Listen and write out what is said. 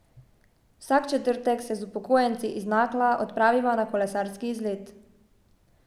Vsak četrtek se z upokojenci iz Nakla odpraviva na kolesarski izlet.